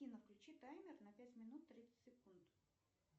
афина включи таймер на пять минут тридцать секунд